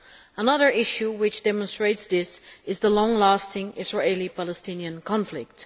Another issue which demonstrates this is the long lasting Israeli Palestinian conflict.